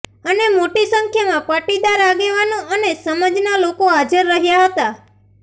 અને મોટી સંખ્યામાં પાટીદાર આગેવાનો અને સમાજના લોકો હાજર રહ્યા હતા